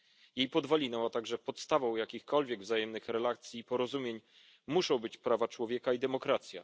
Jej podwaliną, a także podstawą jakichkolwiek wzajemnych relacji i porozumień muszą być prawa człowieka i demokracja.